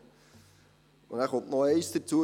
Eines kommt noch hinzu: